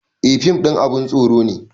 Eh fim ɗin abun tsoro ne